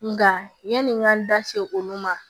Nka yani n ka n da se olu ma